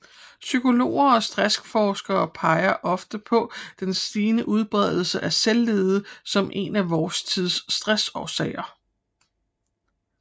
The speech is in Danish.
Psykologer og stressforskere peger ofte på den stigende udbredelse af selvledelse som en af vor tids stressårsager